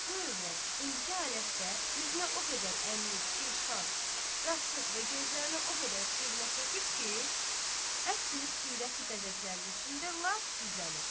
bu övrət indiki halətdə üzünə o qədər ənlik, kirşan, rasıx və gözlərinə o qədər sürmə çəkib ki, əsil surəti bəzəklərinin içində lap gizlənibdir.